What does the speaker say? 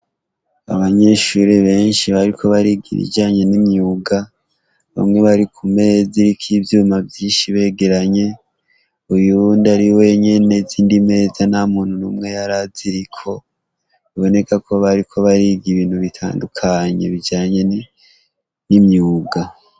Abanyeshuri benshi bariko bariga ibijanye n'imyuga, bamwe bari ku meza iriko ivyuma vyishi begeranye ,uyundi ari wenyene izindi meza ntamuntu numwe yaraziriko biboneka ko bariko bariga ibintu bitandukanye bijanye n'imyuga.